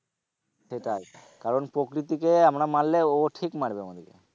সেটাই কারণ প্রকৃতিকে আমরা মারলে ও ও ঠিক মারবে আমাদেরকে।